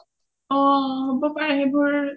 অ হ’ব পাৰে সেইবোৰ